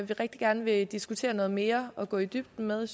vi rigtig gerne vil diskutere noget mere og gå i dybden med